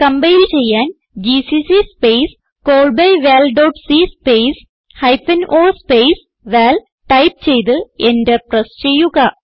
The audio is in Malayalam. കംപൈൽ ചെയ്യാൻ ജിസിസി സ്പേസ് callbyvalസി space hyphen o space val type ചെയ്ത് എന്റർ പ്രസ് ചെയ്യുക